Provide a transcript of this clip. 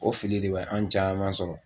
O fili de bɛ an caman sɔrɔ